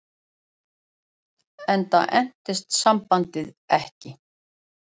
Enda entist sambandið ekki.